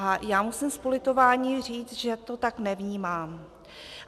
A já musím s politováním říct, že to tak nevnímám.